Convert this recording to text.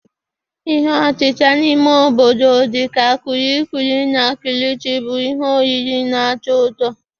Ihe otita n'ime obodo dị ka kulikuli na kilichi bụ ihe oriri na-atọ ụtọ